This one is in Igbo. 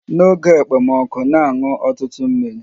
N'oge ekpomọkụ, na-aṅụ ọtụtụ mmiri